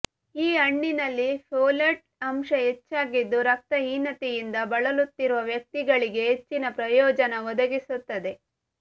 ಈ ಹಣ್ಣಿನಲ್ಲಿ ಫೋಲೇಟ್ ಅಂಶ ಹೆಚ್ಚಾಗಿದ್ದು ರಕ್ತಹೀನತೆಯಿಂದ ಬಳಲುತ್ತಿರುವ ವ್ಯಕ್ತಿಗಳಿಗೆ ಹೆಚ್ಚಿನ ಪ್ರಯೋಜನ ಒದಗಿಸುತ್ತದೆ